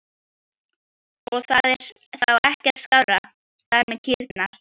Arnfinnur, hringdu í Sigursteindór eftir níutíu og fimm mínútur.